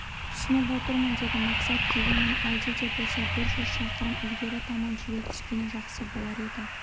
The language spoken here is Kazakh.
түсініп отырмын деді мақсатдегенмен әлде де болса бір жүз шақырым ілгері таман жүре түскені жақсы болар еді